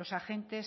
los agentes